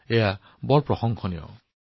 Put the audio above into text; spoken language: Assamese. এইটো অতি প্ৰশংসনীয় কাম হৈছে